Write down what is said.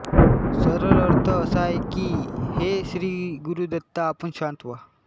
सरळ अर्थ असा आहे कीं हे श्रीगुरुदत्ता आपण शांत व्हा